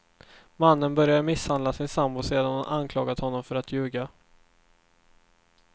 Mannen började misshandla sin sambo sedan hon anklagat honom för att ljuga.